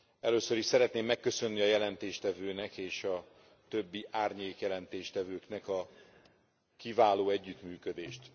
Először is szeretném megköszönni a jelentéstevőnek és a többi árnyék jelentéstevőnek a kiváló együttműködést.